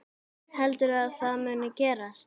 Heldurðu að það muni gerast?